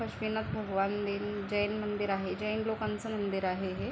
काशमीनाथ भगवान दी जैन मंदिर आहे. जैन लोकांच मंदिर आहे हे.